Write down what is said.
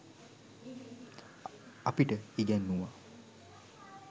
අපිට ඉගැන්නූවා.